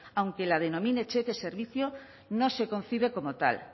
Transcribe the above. aunque la denomine cheque servicio no se concibe como tal